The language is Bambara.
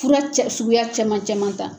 Fura cɛri suguya cɛman cɛman ta